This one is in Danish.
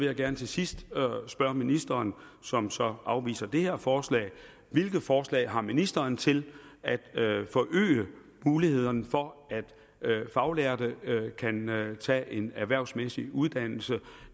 jeg gerne til sidst spørge ministeren som så afviser det her forslag hvilke forslag har ministeren til at forøge mulighederne for at ufaglærte kan tage en erhvervsmæssig uddannelse